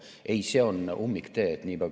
Ei, see on ummiktee.